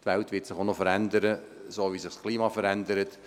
Die Welt wird sich auch noch verändern, wie sich das Klima verändert.